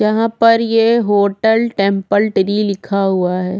यहाँ पर ये होटल टेंपल ट्री लिखा हुआ हैं।